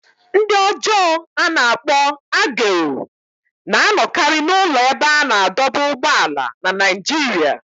Ndị ọjọọ a na-akpọ agero" na-anọkarị n'ụlọ ebe a na-adọba ụgbọala na Naịjirịa."